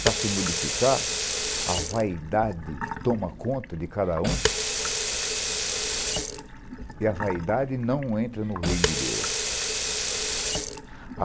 Para se modificar, a vaidade toma conta de cada um e a vaidade não entra no reino de Deus.